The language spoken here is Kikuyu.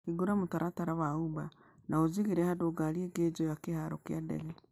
hingũra mũtaratara wa Uber na unjigiĩre handũ ha ngari ĩnjoye kĩharo ya ndege